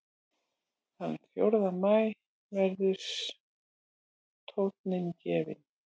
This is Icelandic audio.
Þann fjórða maí verður tóninn gefinn